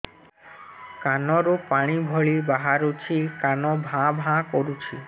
କାନ ରୁ ପାଣି ଭଳି ବାହାରୁଛି କାନ ଭାଁ ଭାଁ କରୁଛି